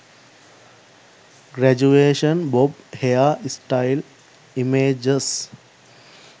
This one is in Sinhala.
graduation bob hair style images